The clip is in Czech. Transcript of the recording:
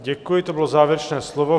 Děkuji, to bylo závěrečné slovo.